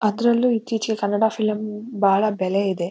ಅದ್ರಲ್ಲೂ ಇತ್ತೀಚಿಗೆ ಕನ್ನಡ ಫಿಲಂ ಬಹಳ ಬೆಲೆ ಇದೆ.